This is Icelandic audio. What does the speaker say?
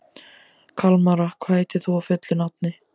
Kalmara, hvað heitir þú fullu nafni?